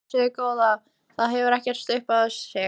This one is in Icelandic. Nei, blessuð góða, það hefði ekkert upp á sig.